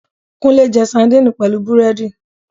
. Kúnlẹ́ jẹ sandini pẹ̀lú búrẹ́dì